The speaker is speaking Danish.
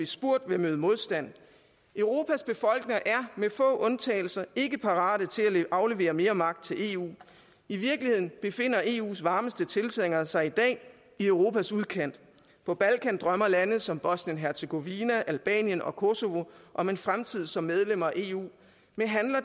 spurgt vil møde modstand europas befolkninger er med få undtagelser ikke parate til at aflevere mere magt til eu i virkeligheden befinder eus varmeste tilhængere sig i dag i europas udkant på balkan drømmer lande som bosnien hercegovina albanien og kosovo om en fremtid som medlemmer af eu men handler